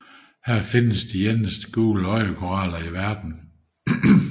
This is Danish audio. Her findes de eneste kendte gule øjekoraller i verden